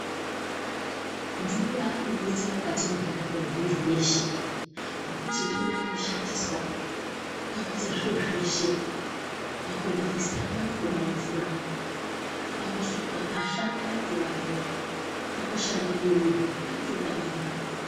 Mvura inodetsera mukati mwendaramo yemuntu weshe ngekuti ndiyona inoshandiswa pakuita zviro zveshe, pakubikisa panotoda mvura, pakusuka mbahla panotoda mvura, pakushamba mwiri panotoda mvura.